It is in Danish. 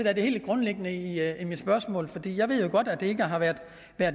er det grundlæggende i mit spørgsmål jeg ved jo godt at det ikke har været